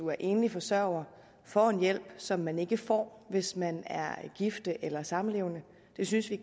er enlig forsørger får en hjælp som man ikke får hvis man er gift eller samlevende det synes vi